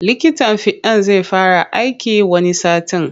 Likitan fiɗan zai fara aiki wani satin.